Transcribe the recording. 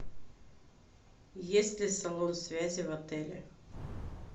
есть ли салон связи в отеле